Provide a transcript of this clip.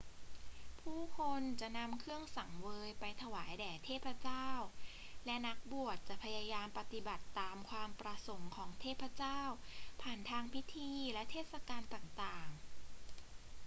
ผู้คนจะนำเครื่องสังเวยไปถวายแด่เทพเจ้า และนักบวชจะพยายามปฏิบัติตามความประสงค์ของเทพเจ้าผ่านทางพิธีและเทศกาลต่าง ๆ